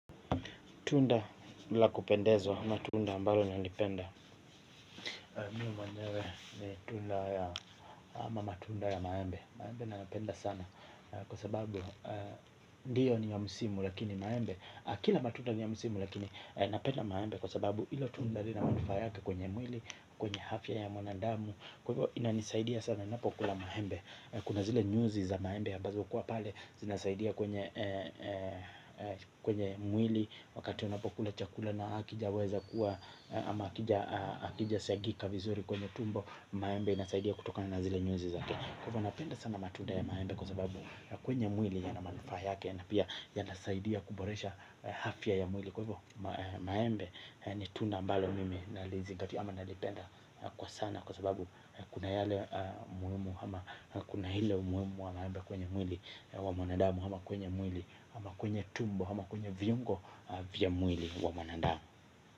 Tunda la kupendezo, ama tunda ambalo nalipenda Miu mwenyewe ni tunda ama matunda ya maembe. Maembe na yapenda sana. Kwa sababu, ndiyo ni ya musimu lakini maembe. Kila matunda ni ya musimu lakini napenda maembe. Kwa sababu ilo tunda li na manufa yake kwenye mwili, kwenye afya ya mwanandamu. Kwa hivyo ina nisaidia sana napo kula maembe. Kuna zile nyuzi za maembe ambazo hukuwa pale. Zinasaidia kwenye mwili. Wakati unapokula chakula na akija weza kuwa ama akija siagika vizuri kwenye tumbo. Maembe inasaidia kutoka na nazile nyuzi zake. Kwa ivo na penda sana matunda ya maembe. Kwa sababu kwenye mwili yanamanufa yake. Na pia yanasaidia kuboresha afya ya mwili. Kwa hivyo maembe ni tunda ambalo mimi na lizigati ama nalipenda kwa sana. Kwa sababu kuna ile muhimu wa maembe kwenye mwili wa mwanadamu ama kwenye mwili ama kwenye tumbo, ama kwenye viungo vya mwili wa mwanadamu.